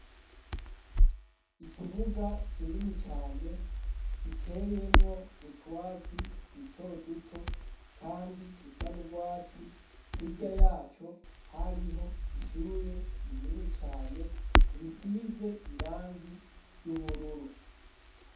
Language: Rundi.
Ikibuga kinini cane giteyemwo utwatsi duto duto, kandi dusanurwatsi hirya yaco hariho ishure rinini cane risize irangi ry'ubururu.